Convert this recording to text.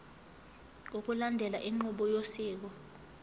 ngokulandela inqubo yosiko